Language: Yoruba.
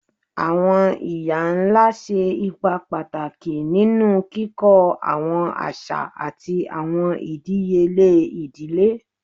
Awọn iya-nla ṣe ipa pataki ninu kikọ awọn aṣa ati awọn idiyele idile